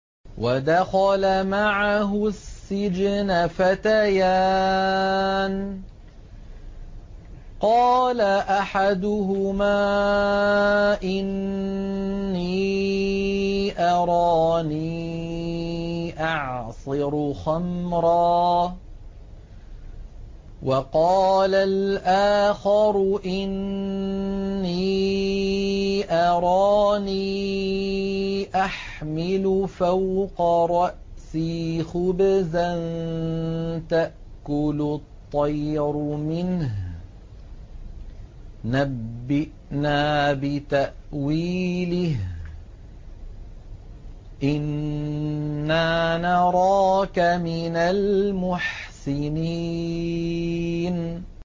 وَدَخَلَ مَعَهُ السِّجْنَ فَتَيَانِ ۖ قَالَ أَحَدُهُمَا إِنِّي أَرَانِي أَعْصِرُ خَمْرًا ۖ وَقَالَ الْآخَرُ إِنِّي أَرَانِي أَحْمِلُ فَوْقَ رَأْسِي خُبْزًا تَأْكُلُ الطَّيْرُ مِنْهُ ۖ نَبِّئْنَا بِتَأْوِيلِهِ ۖ إِنَّا نَرَاكَ مِنَ الْمُحْسِنِينَ